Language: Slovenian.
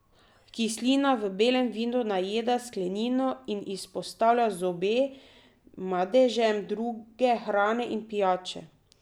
Kislina v belem vinu najeda sklenino in izpostavlja zobe madežem druge hrane in pijače.